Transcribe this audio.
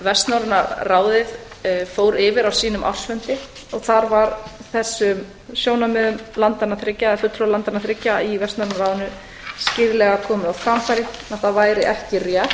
vestnorræna ráðið fór yfir á sínum ársfundi og þar var þessum sjónarmiðum fulltrúa landanna þriggja í vestnorræna ráðinu skýrlega komið á framfæri að það væri ekki rétt